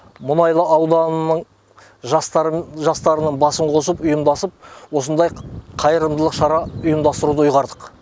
мұнайлы ауданының жастарын жастарының басын қосып ұйымдасып осындай қайырымдылық шара ұйымдастыруды ұйғардық